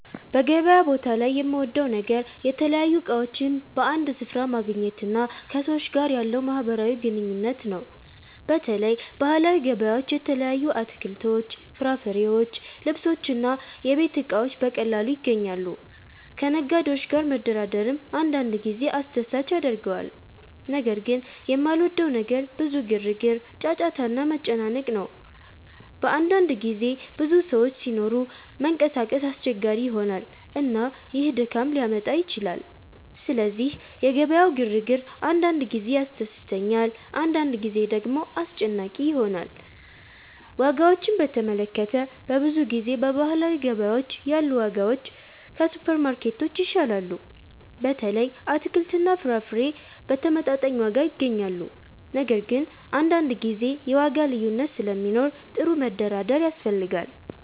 በገበያ ቦታ ላይ የምወደው ነገር የተለያዩ እቃዎችን በአንድ ስፍራ ማግኘት እና ከሰዎች ጋር ያለው ማህበራዊ ግንኙነት ነው። በተለይ ባህላዊ ገበያዎች የተለያዩ አትክልቶች፣ ፍራፍሬዎች፣ ልብሶች እና የቤት እቃዎች በቀላሉ ይገኛሉ። ከነጋዴዎች ጋር መደራደርም አንዳንድ ጊዜ አስደሳች ያደርገዋል። ነገር ግን የማልወደው ነገር ብዙ ግርግር፣ ጫጫታ እና መጨናነቅ ነው። በአንዳንድ ጊዜ ብዙ ሰዎች ሲኖሩ መንቀሳቀስ አስቸጋሪ ይሆናል፣ እና ይህ ድካም ሊያመጣ ይችላል። ስለዚህ የገበያው ግርግር አንዳንድ ጊዜ ያስደስተኛል፣ አንዳንድ ጊዜ ደግሞ አስጨናቂ ይሆናል። ዋጋዎችን በተመለከተ፣ በብዙ ጊዜ በባህላዊ ገበያዎች ያሉ ዋጋዎች ከሱፐርማርኬቶች ይሻላሉ። በተለይ አትክልትና ፍራፍሬ በተመጣጣኝ ዋጋ ይገኛሉ። ነገር ግን አንዳንድ ጊዜ የዋጋ ልዩነት ስለሚኖር ጥሩ መደራደር ያስፈልጋል።